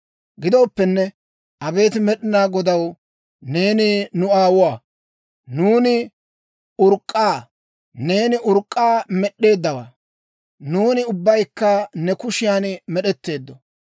Gidooppenne, abeet Med'inaa Godaw, neeni nu aawuwaa; nuuni urk'k'a; neeni urk'k'aa med'd'eeddawaa; nuuni ubbaykka ne kushiyan med'etteeddo.